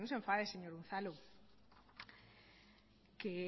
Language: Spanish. enfade señor unzalu que